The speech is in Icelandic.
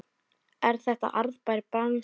Er þetta arðbær bransi?